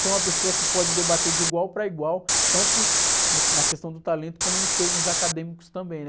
ser uma pessoa que pode debater de igual para igual, tanto no, na questão do talento como nos termos acadêmicos também, né?